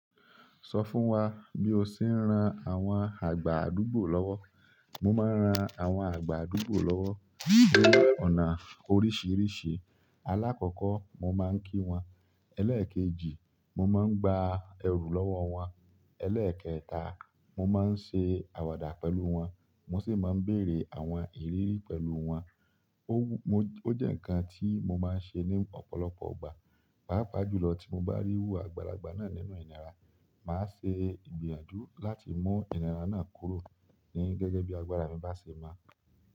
Sọ fún wa bí o ṣe ń ran àwọn àgbà àdúgbò lọ́wọ́. Mo máa ń ran àwọn àgbà àdúgbò lọ́wọ́ ní ọ̀nà oríṣìíríṣìí. Alákọ̀kọ́ mo máa ń kí wọn, ẹlẹ́ẹ̀kejì mo máa ń gba ẹrù lọ́wọ́ wọn, ẹlẹ́ẹ̀kẹta mo máa ń ṣe àwàdà pẹ̀lú wọn, mo sì máa ń bèrè àwọn ìrírí pẹ̀lú wọn. Ó jẹ́ nǹkan tí mo máa ń ṣe ní ọ̀pọ̀lọpọ̀ ìgbà. Páápàá jùlọ tí mo bá rí iru àgbàlagbà náà nínú ìnira, màá ṣe ìgbìyànjú láti mú ìnira náà kúrò gẹ́gẹ́ bí agbára mi bá ṣe mọ.